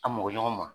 An mɔgɔ ɲɔgɔn ma